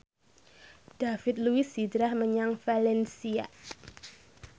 David Luiz hijrah menyang valencia